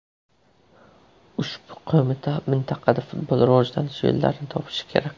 Ushbu qo‘mita mintaqada futbol rivojlanish yo‘llarini topishi kerak.